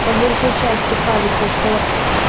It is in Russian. по большей части кажется что